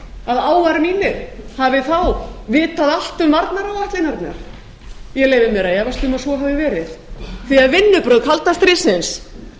að áar mínir hafi þá vitað allt um varnaráætlanirnar ég leyfi mér að efast um að svo hafi verið því vinnubrögð kalda stríðsins